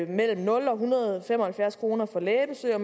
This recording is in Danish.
mellem nul og en hundrede og fem og halvfjerds kroner for et lægebesøg og